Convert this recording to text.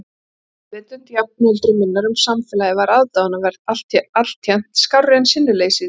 Meðvitund jafnöldru minnar um samfélagið var aðdáunarverð, alltént skárri en sinnuleysið í mér.